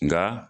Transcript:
Nga